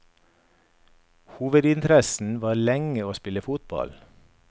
Hovedinteressen var lenge å spille fotball.